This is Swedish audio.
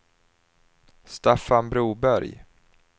Staffan Broberg